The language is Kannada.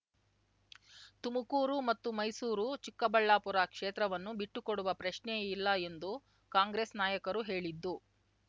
ತುಮುಕೂರು ಮತ್ತು ಮೈಸೂರು ಚಿಕ್ಕಬಳ್ಳಾಪುರ ಕ್ಷೇತ್ರವನ್ನು ಬಿಟ್ಟುಕೊಡುವ ಪ್ರಶ್ನೇಯೆ ಇಲ್ಲ ಎಂದು ಕಾಂಗ್ರೆಸ್ ನಾಯಕರು ಹೇಳಿದ್ದು